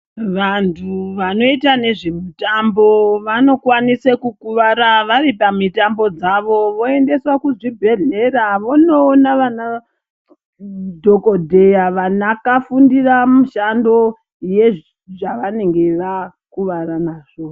Vantu vanoita nezvemitambo vanokwanisa kukuvara vari pamutambo dzavo voendeswa kuzvibhehlera vonoona vanadhogodheya vakafundira mushando yezvavanenge vakuvara nazvo.